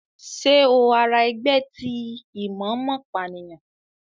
Ṣe o àrà ẹgbẹ ti imomopaniyan?